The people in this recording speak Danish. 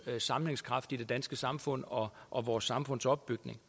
sammenhængskraft i det danske samfund og og vores samfunds opbygning